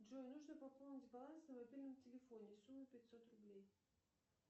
джой нужно пополнить баланс на мобильном телефоне сумма пятьсот рублей